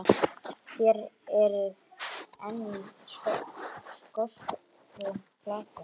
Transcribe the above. Þér eruð enn í skökku glasi.